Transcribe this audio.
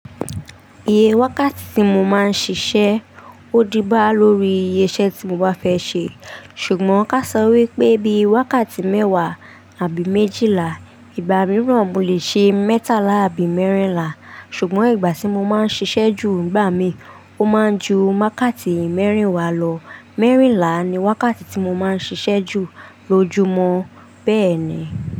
Iye wákàtí tí mo máa ń ṣiṣẹ́ ó díbá lórí iye iṣẹ́ tí mo bá fẹ́ ṣe, ṣùgbọ́n ká sọ wípé bí i wákàtí mẹ́wàá àbí méjìlá, ìgbà mìíràn mo lè ṣe mẹ́tàlá àbí mẹ́rìnlá, ṣùgbọ́n ìgbà tí mo máa ń ṣiṣẹ́ jù n'gbà mi, ó máa ń ju wákàtí mẹ́rìnlá lọ. Mẹ́rìnlá ni wákàtí tí mo máa ń ṣiṣẹ́ jù lójúmọ́, bẹ́ẹ̀ ni.